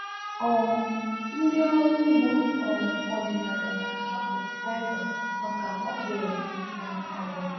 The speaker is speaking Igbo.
um Ndị ọrụ ugbo um ọdịnala na acho fetiliza maka okwụrụ na agwa